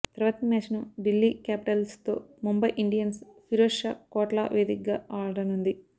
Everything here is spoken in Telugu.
తర్వాతి మ్యాచ్ను ఢిల్లీ క్యాపిటల్స్తో ముంబై ఇండియన్స్ ఫిరోజ్ షా కోట్లా వేదికగా ఆడనుంది